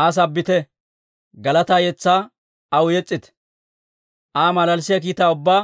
Aa sabbite; galataa yetsaa aw yes's'ite. Aa malalissiyaa kiitaa ubbaa